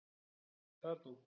Kató